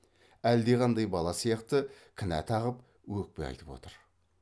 әлде қандай бала сияқты кінә тағып өкпе айтып отыр